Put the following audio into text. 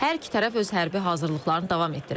Hər iki tərəf öz hərbi hazırlıqlarını davam etdirir.